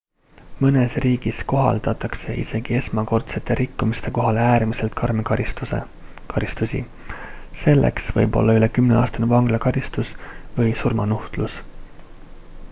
mõnes riigis kohaldatakse isegi esmakordsete rikkumiste korral äärmiselt karme karistusi selleks võib olla üle 10-aastane vanglakaristus või surmanuhtlus